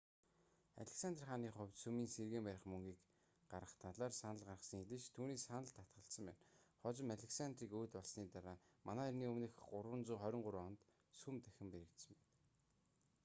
александр хааны хувьд сүмийг сэргээн барих мөнгийг гаргах талаар санал гарсан хэдий ч түүний саналд татгалзсан байна хожим александрийг өөд болсоны дараа мэө 323 онд сүм дахин баригдсан байна